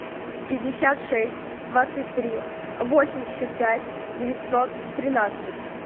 пятьдесят шесть двадцать три восемьдесят пять девятьсот тринадцать